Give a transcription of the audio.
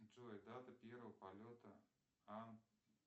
джой дата первого полета ан